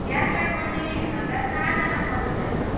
यात्रा गर्ने हाम्रा चारजना सदस्य छन्।